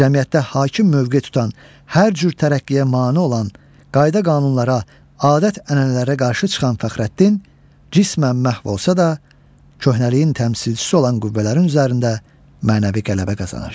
Cəmiyyətdə hakim mövqe tutan, hər cür tərəqqiyə mane olan, qayda-qanunlara, adət-ənənələrə qarşı çıxan Fəxrəddin cismən məhv olsa da, köhnəliyin təmsilçisi olan qüvvələrin üzərində mənəvi qələbə qazanır.